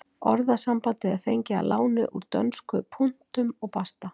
Orðasambandið er fengið að láni úr dönsku punktum og basta.